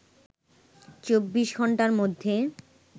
২৪ ঘণ্টার মধ্যে